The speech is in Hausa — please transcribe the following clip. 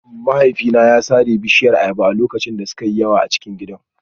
Mahaifina ya sare mana bishiyar ayaba a lokacin da suka yi yawa a cikin gidan